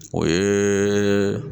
O ye